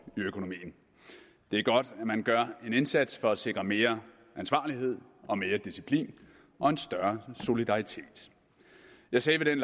i økonomien det er godt at man gør en indsats for at sikre mere ansvarlighed og mere disciplin og en større solidaritet jeg sagde